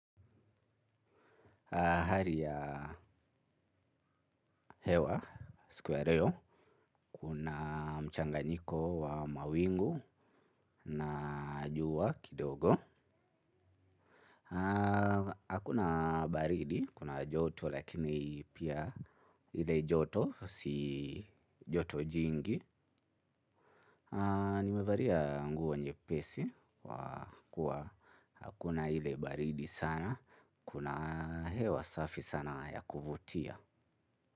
Hali ya hewa, siku ya reyo, kuna mchanganyiko wa mawingu na juwa kidogo. Hakuna baridi, kuna joto, lakini pia ile joto, si joto jingi. Nimevaria nguo nyepesi, kwa kuwahakuna ile baridi sana, kuna hewa safi sana ya kuvutia.